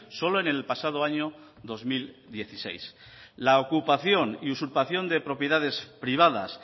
solo en el pasado año dos mil dieciséis la ocupación y usurpación de propiedades privadas